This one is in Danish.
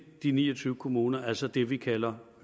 de ni og tyve kommuner altså det vi kalder